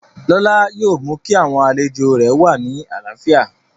Lọlá yóò mú kí àwọn àlejò rẹ̀ wà ní àlàáfíà